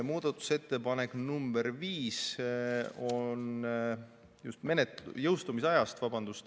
Muudatusettepanek nr 5 on jõustumise aja kohta.